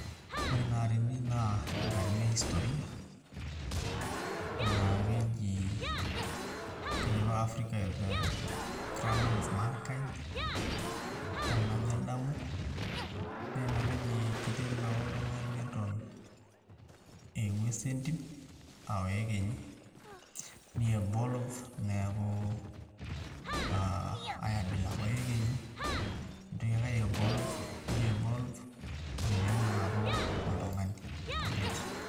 Ore ina atini naa enkatini e historia naa keji, keji apa Africa 'The Cradle of mankind tenajo adamu naa ina apa eji kiteru apa oltung'ani eton aa engues entim aa oekenyi ni evolve neeku aa ai abila ake oekenyi nitoki ake ai evolve ni evolve omeeo naa aaku oltung'ani complete.